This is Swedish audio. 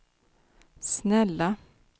snälla